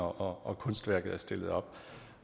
og kunstværket er stillet op